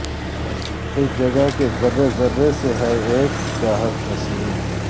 اس جگہ کے ذرہ ذرہ سے ہے اک چاہت نسیم